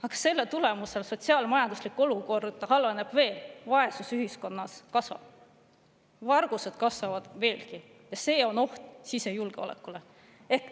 Aga selle tulemusel sotsiaal-majanduslik olukord halveneb veel, vaesus ühiskonnas kasvab, vargused kasvavad veelgi, ja see on oht sisejulgeolekule.